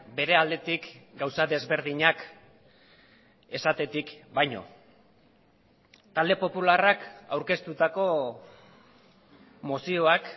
bere aldetik gauza desberdinak esatetik baino talde popularrak aurkeztutako mozioak